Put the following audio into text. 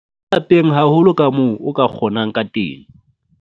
Lapeng haholo kamoo o ka kgonang ka teng.